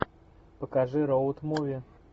покажи роуд муви